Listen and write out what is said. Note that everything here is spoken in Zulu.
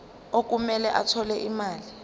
okumele athole imali